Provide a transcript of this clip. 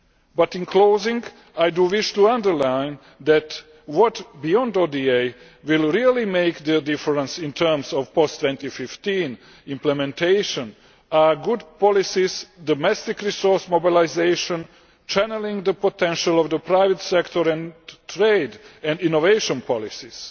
But in closing, I wish to underline that what, beyond ODA, will really make the difference in terms of post 2015 implementation are good policies, domestic resource mobilisation, channelling the potential of the private sector and trade and innovation policies.